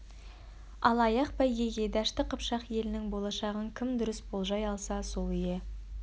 ал аяқ бәйгеге дәшті қыпшақ елінің болашағын кім дұрыс болжай алса сол ие